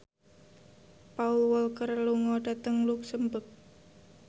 Paul Walker lunga dhateng luxemburg